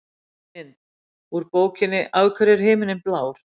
Mynd: Úr bókinni Af hverju er himinninn blár?